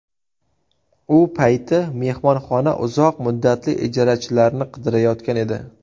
U payti mehmonxona uzoq muddatli ijarachilarni qidirayotgan edi.